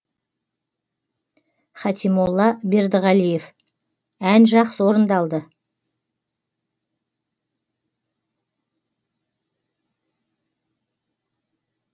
хатимолла бердіғалиев ән жақсы орындалды